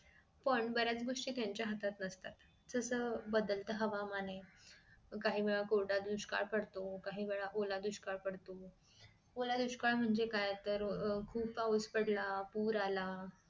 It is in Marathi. पण बऱ्याच गोष्टी त्यांच्या हातात नसतात जस बदलत हवामान आहे काहीवेळा कोरडा दुष्काळ पडतो काहीवेळा ओला दुष्काळ पडतो ओला दुष्काळ म्हणजे काय तर अह खूप पाऊस पडला अह पूर आला